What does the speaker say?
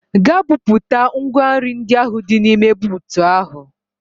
Gaa bupụta ngwa nri ndị ahụ dị n'ime buutu ahụ!